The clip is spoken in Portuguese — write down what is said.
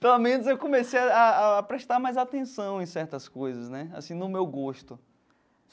Pelo menos eu comecei a a prestar mais atenção em certas coisas, né assim no meu gosto.